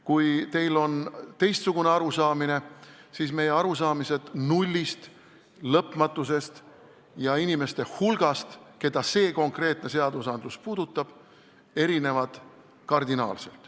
Kui teil on teistsugune arusaamine, siis meie arusaamad nullist, lõpmatusest ja inimeste hulgast, keda see konkreetne seadus puudutaks, erinevad kardinaalselt.